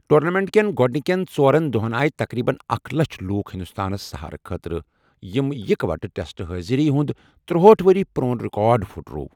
Tournament کٮ۪ن گوڑنِکٮ۪ن ژورَن دوہَن آۓ تقریبن اکھَ لچھَ لوک ہندوستانس سٕہارٕ خٲطرٕ، یٔمۍ اِکہٕ ووٹہٕ ٹیسٹہٕ حٲضری ہُنٛد تٔرہاٹھ وری ورسال پرٛون رِکاڈ پھٕٹرٲو۔